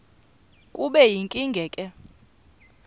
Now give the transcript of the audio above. kube yinkinge ke